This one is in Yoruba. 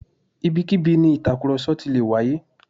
Ibikíbi ni ìtàkùrọ̀sọ ti lè wáyé